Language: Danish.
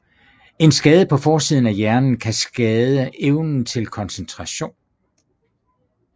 En skade på forsiden af hjernen kan skade evnen til koncentration